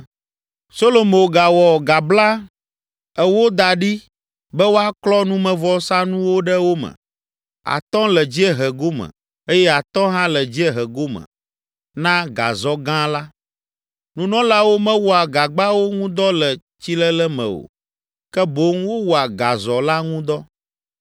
Solomo gawɔ gagba ewo da ɖi be woaklɔ numevɔsanuwo ɖe wo me; atɔ̃ le dziehe gome eye atɔ̃ hã le dziehe gome na gazɔ gã la. Nunɔlawo mewɔa gagbawo ŋudɔ le tsilele me o, ke boŋ wowɔa gazɔ la ŋu dɔ.